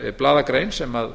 samanber blaðagrein sem